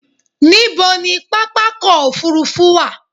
Ní bo ni pápákọ̀ òfurufú wà?